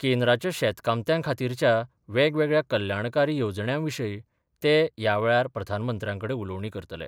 केंद्राच्या शेतकामत्यांखातीरच्या वेगवेगळ्या कल्याणकारी येवजण्यांविशीय ते यावेळार प्रधानमंत्र्याकडे उलोवणी करतले.